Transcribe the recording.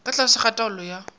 ka tlase ga taolo ya